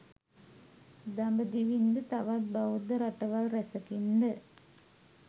දඹදිවින් ද තවත් බෞද්ධ රටවල් රැසකින් ද